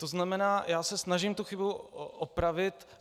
To znamená, já se snažím tu chybu opravit.